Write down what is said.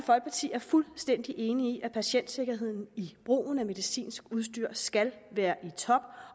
er fuldstændig enige i at patientsikkerheden i brugen af medicinsk udstyr skal være i top